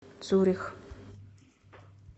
цюрих